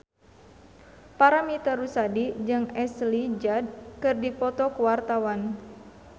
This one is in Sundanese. Paramitha Rusady jeung Ashley Judd keur dipoto ku wartawan